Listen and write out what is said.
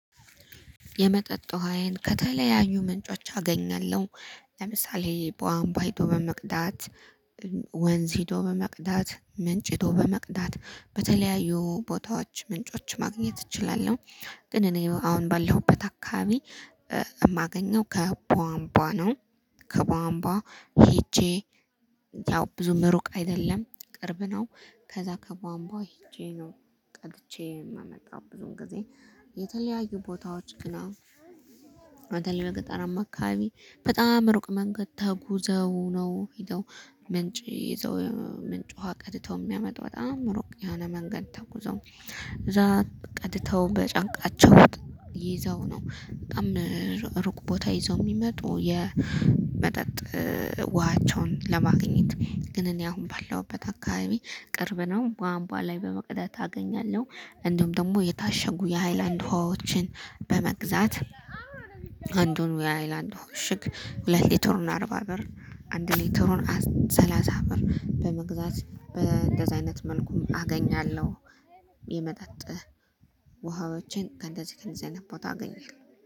የመጠጥ ውሃዬን ከተለያዩ ምንጮች አገኛለሁ ለምሳሌ በዋንባ ሄዶ በመቅዳት ወንዝ ሄዶ በመቅዳት ምንጭ ሄዶ በመቅዳት በተለያዩ ቦታዎች ምንጮች ማግኘት እችላለሁ። ግን እኔ አሁን ባለሁበት አካባቢ የማገኘው ከቧንቧ ነው። ከባንባ ሄጄ ያው ብዙም ሩቅ አይደለም ቅርብ ነው። ከዛ ከቧንቧ ሄጄ ነው ቀድቼ የምመጣው ብዙም ጊዜ። የተለያዩ ቦታዎች ግን አሁን በገጠራማ አካባቢ በጣም ሩቅ መንገድ ተጉዘው ነው ሄደው ምንጭ ይዘው ምንጭ ውሃ ቀድተው የሚያመጡ በጣም ሩቅ ያለ መንገድ ተጉዘው እዛ ቀድተው በጫንቃቸው ውጥ ይዘው ነው በጣም ሩቅ ቦታ ይዘው የሚመጡ የመጠጥ ውሃቸውን ለማግኘት ግን እኔ አሁን ባለውበት አካባቢ ቅርብ ነው ባምባ ላይ በመቅደት አገኛለሁ። እንዲሁም ደግሞ የታሸጉ የሃይላንድ ህዋዎችን በመግዛት አንዱን ዊ አይላንድ እሽግ ሁለት ሊትር አርባ ብር አንድ ሊትር ሰላሳ ሰላሳ ብር በመግዛት በእንደዚህ አይነት መልኩም አገኛለሁ። የመጠጥ ውሃዎችን ከእንደዚህ ከእንደዚህ አይነት ቦታ አገኘኛለሁ